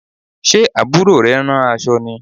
Ṣe Àbúrò rẹ ń rán aṣọ ni?